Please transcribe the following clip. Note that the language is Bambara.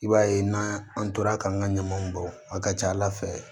I b'a ye n'an tora k'an ka ɲamanw bɔ a ka ca ala fɛ